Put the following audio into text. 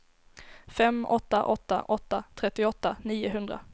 fem åtta åtta åtta trettioåtta niohundra